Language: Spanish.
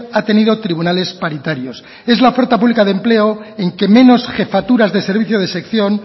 ha tenido tribunales paritarios es la oferta pública de empleo en que menos jefaturas de servicio de sección